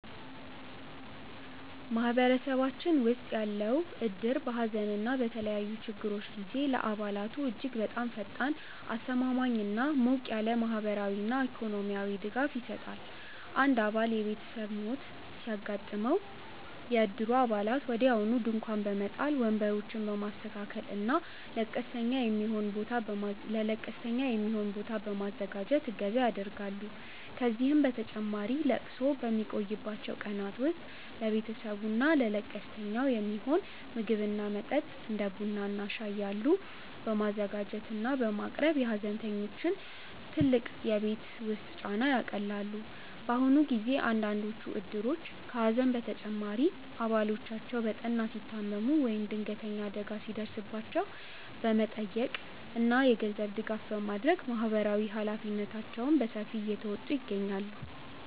ማህበረሰባችን ውስጥ ያለው እድር በሐዘን እና በተለያዩ ችግሮች ጊዜ ለአባላቱ እጅግ በጣም ፈጣን፣ አስተማማኝ እና ሞቅ ያለ ማህበራዊና ኢኮኖሚያዊ ድጋፍ ይሰጣል። አንድ አባል የቤተሰብ ሞት ሲያጋጥመው፣ የእድሩ አባላት ወዲያውኑ ድንኳን በመጣል፣ ወንበሮችን በማስተካከል እና ለቀስተኛ የሚሆን ቦታ በማዘጋጀት እገዛ ያደርጋሉ። ከዚህም በተጨማሪ ለቅሶው በሚቆይባቸው ቀናት ውስጥ ለቤተሰቡ እና ለቀስተኛው የሚሆን ምግብ እና መጠጥ (እንደ ቡና እና ሻይ ያሉ) በማዘጋጀት እና በማቅረብ የሐዘንተኞቹን ትልቅ የቤት ውስጥ ጫና ያቃልላሉ። በአሁኑ ጊዜ አንዳንዶቹ እድሮች ከሐዘን በተጨማሪ አባላቶቻቸው በጠና ሲታመሙ ወይም ድንገተኛ አደጋ ሲደርስባቸው በመጠየቅ እና የገንዘብ ድጋፍ በማድረግ ማህበራዊ ኃላፊነታቸውን በሰፊው እየተወጡ ይገኛሉ።